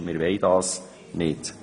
Wir wollen dies nicht.